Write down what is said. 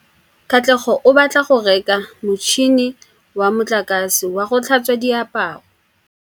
Katlego o batla go reka motšhine wa motlakase wa go tlhatswa diaparo.